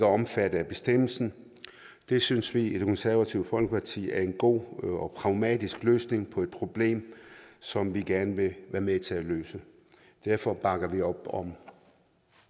omfattet af bestemmelsen det synes vi i det konservative folkeparti er en god og pragmatisk løsning på et problem som vi gerne vil være med til at løse derfor bakker vi op om